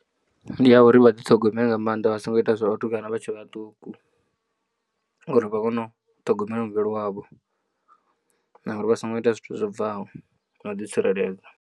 Ndi ya uri vha ḓiṱhogomele nga maanḓa vha songo ita zwa vhatukana vha tshe vhaṱuku, uri vha kone u ṱhogomela muvhili wavho na uri vha songo ita zwithu zwobvaho na u ḓitsireledza.